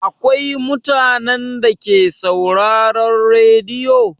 Akwai mutanen Dake sauraron rediyo?